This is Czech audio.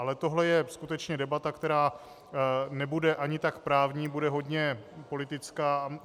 Ale tohle je skutečně debata, která nebude ani tak právní, bude hodně politická.